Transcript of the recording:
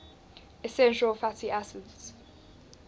essential fatty acids